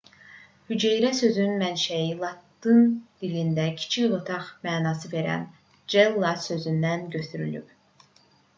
hüceyrə sözünün mənşəyi latın dilində kiçik otaq mənasını verən cella sözündən götürülüb